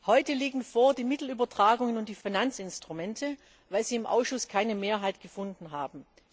Heute liegen die Mittelübertragungen und die Finanzinstrumente vor, weil sie im Ausschuss keine Mehrheit gefunden haben.